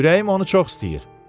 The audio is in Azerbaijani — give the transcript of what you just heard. Ürəyim onu çox istəyir.